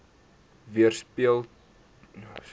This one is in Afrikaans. weerspieël ten opsigte